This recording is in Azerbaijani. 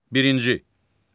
Birinci.